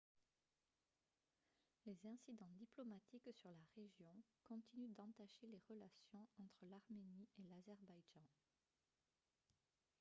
les incidents diplomatiques sur la région continuent d'entacher les relations entre l'arménie et l'azerbaïdjan